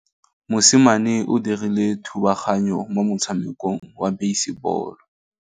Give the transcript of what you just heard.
Mosimane o dirile thubaganyô mo motshamekong wa basebôlô.